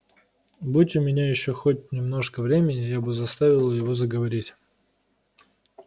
будь у меня ещё хоть немножко времени я бы заставила его заговорить